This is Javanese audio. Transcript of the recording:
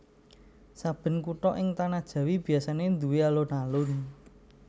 Saben kutha ing tanah Jawi biasané nduwé alun alun